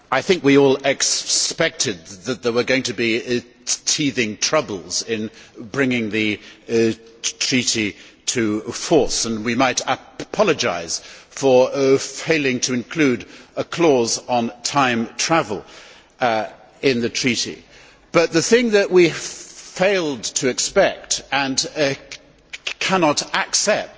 Mr President, I think we all expected that there were going to be teething troubles in bringing the treaty into force and we might apologise for failing to include a clause on time travel in the treaty, but the thing we failed to expect and cannot accept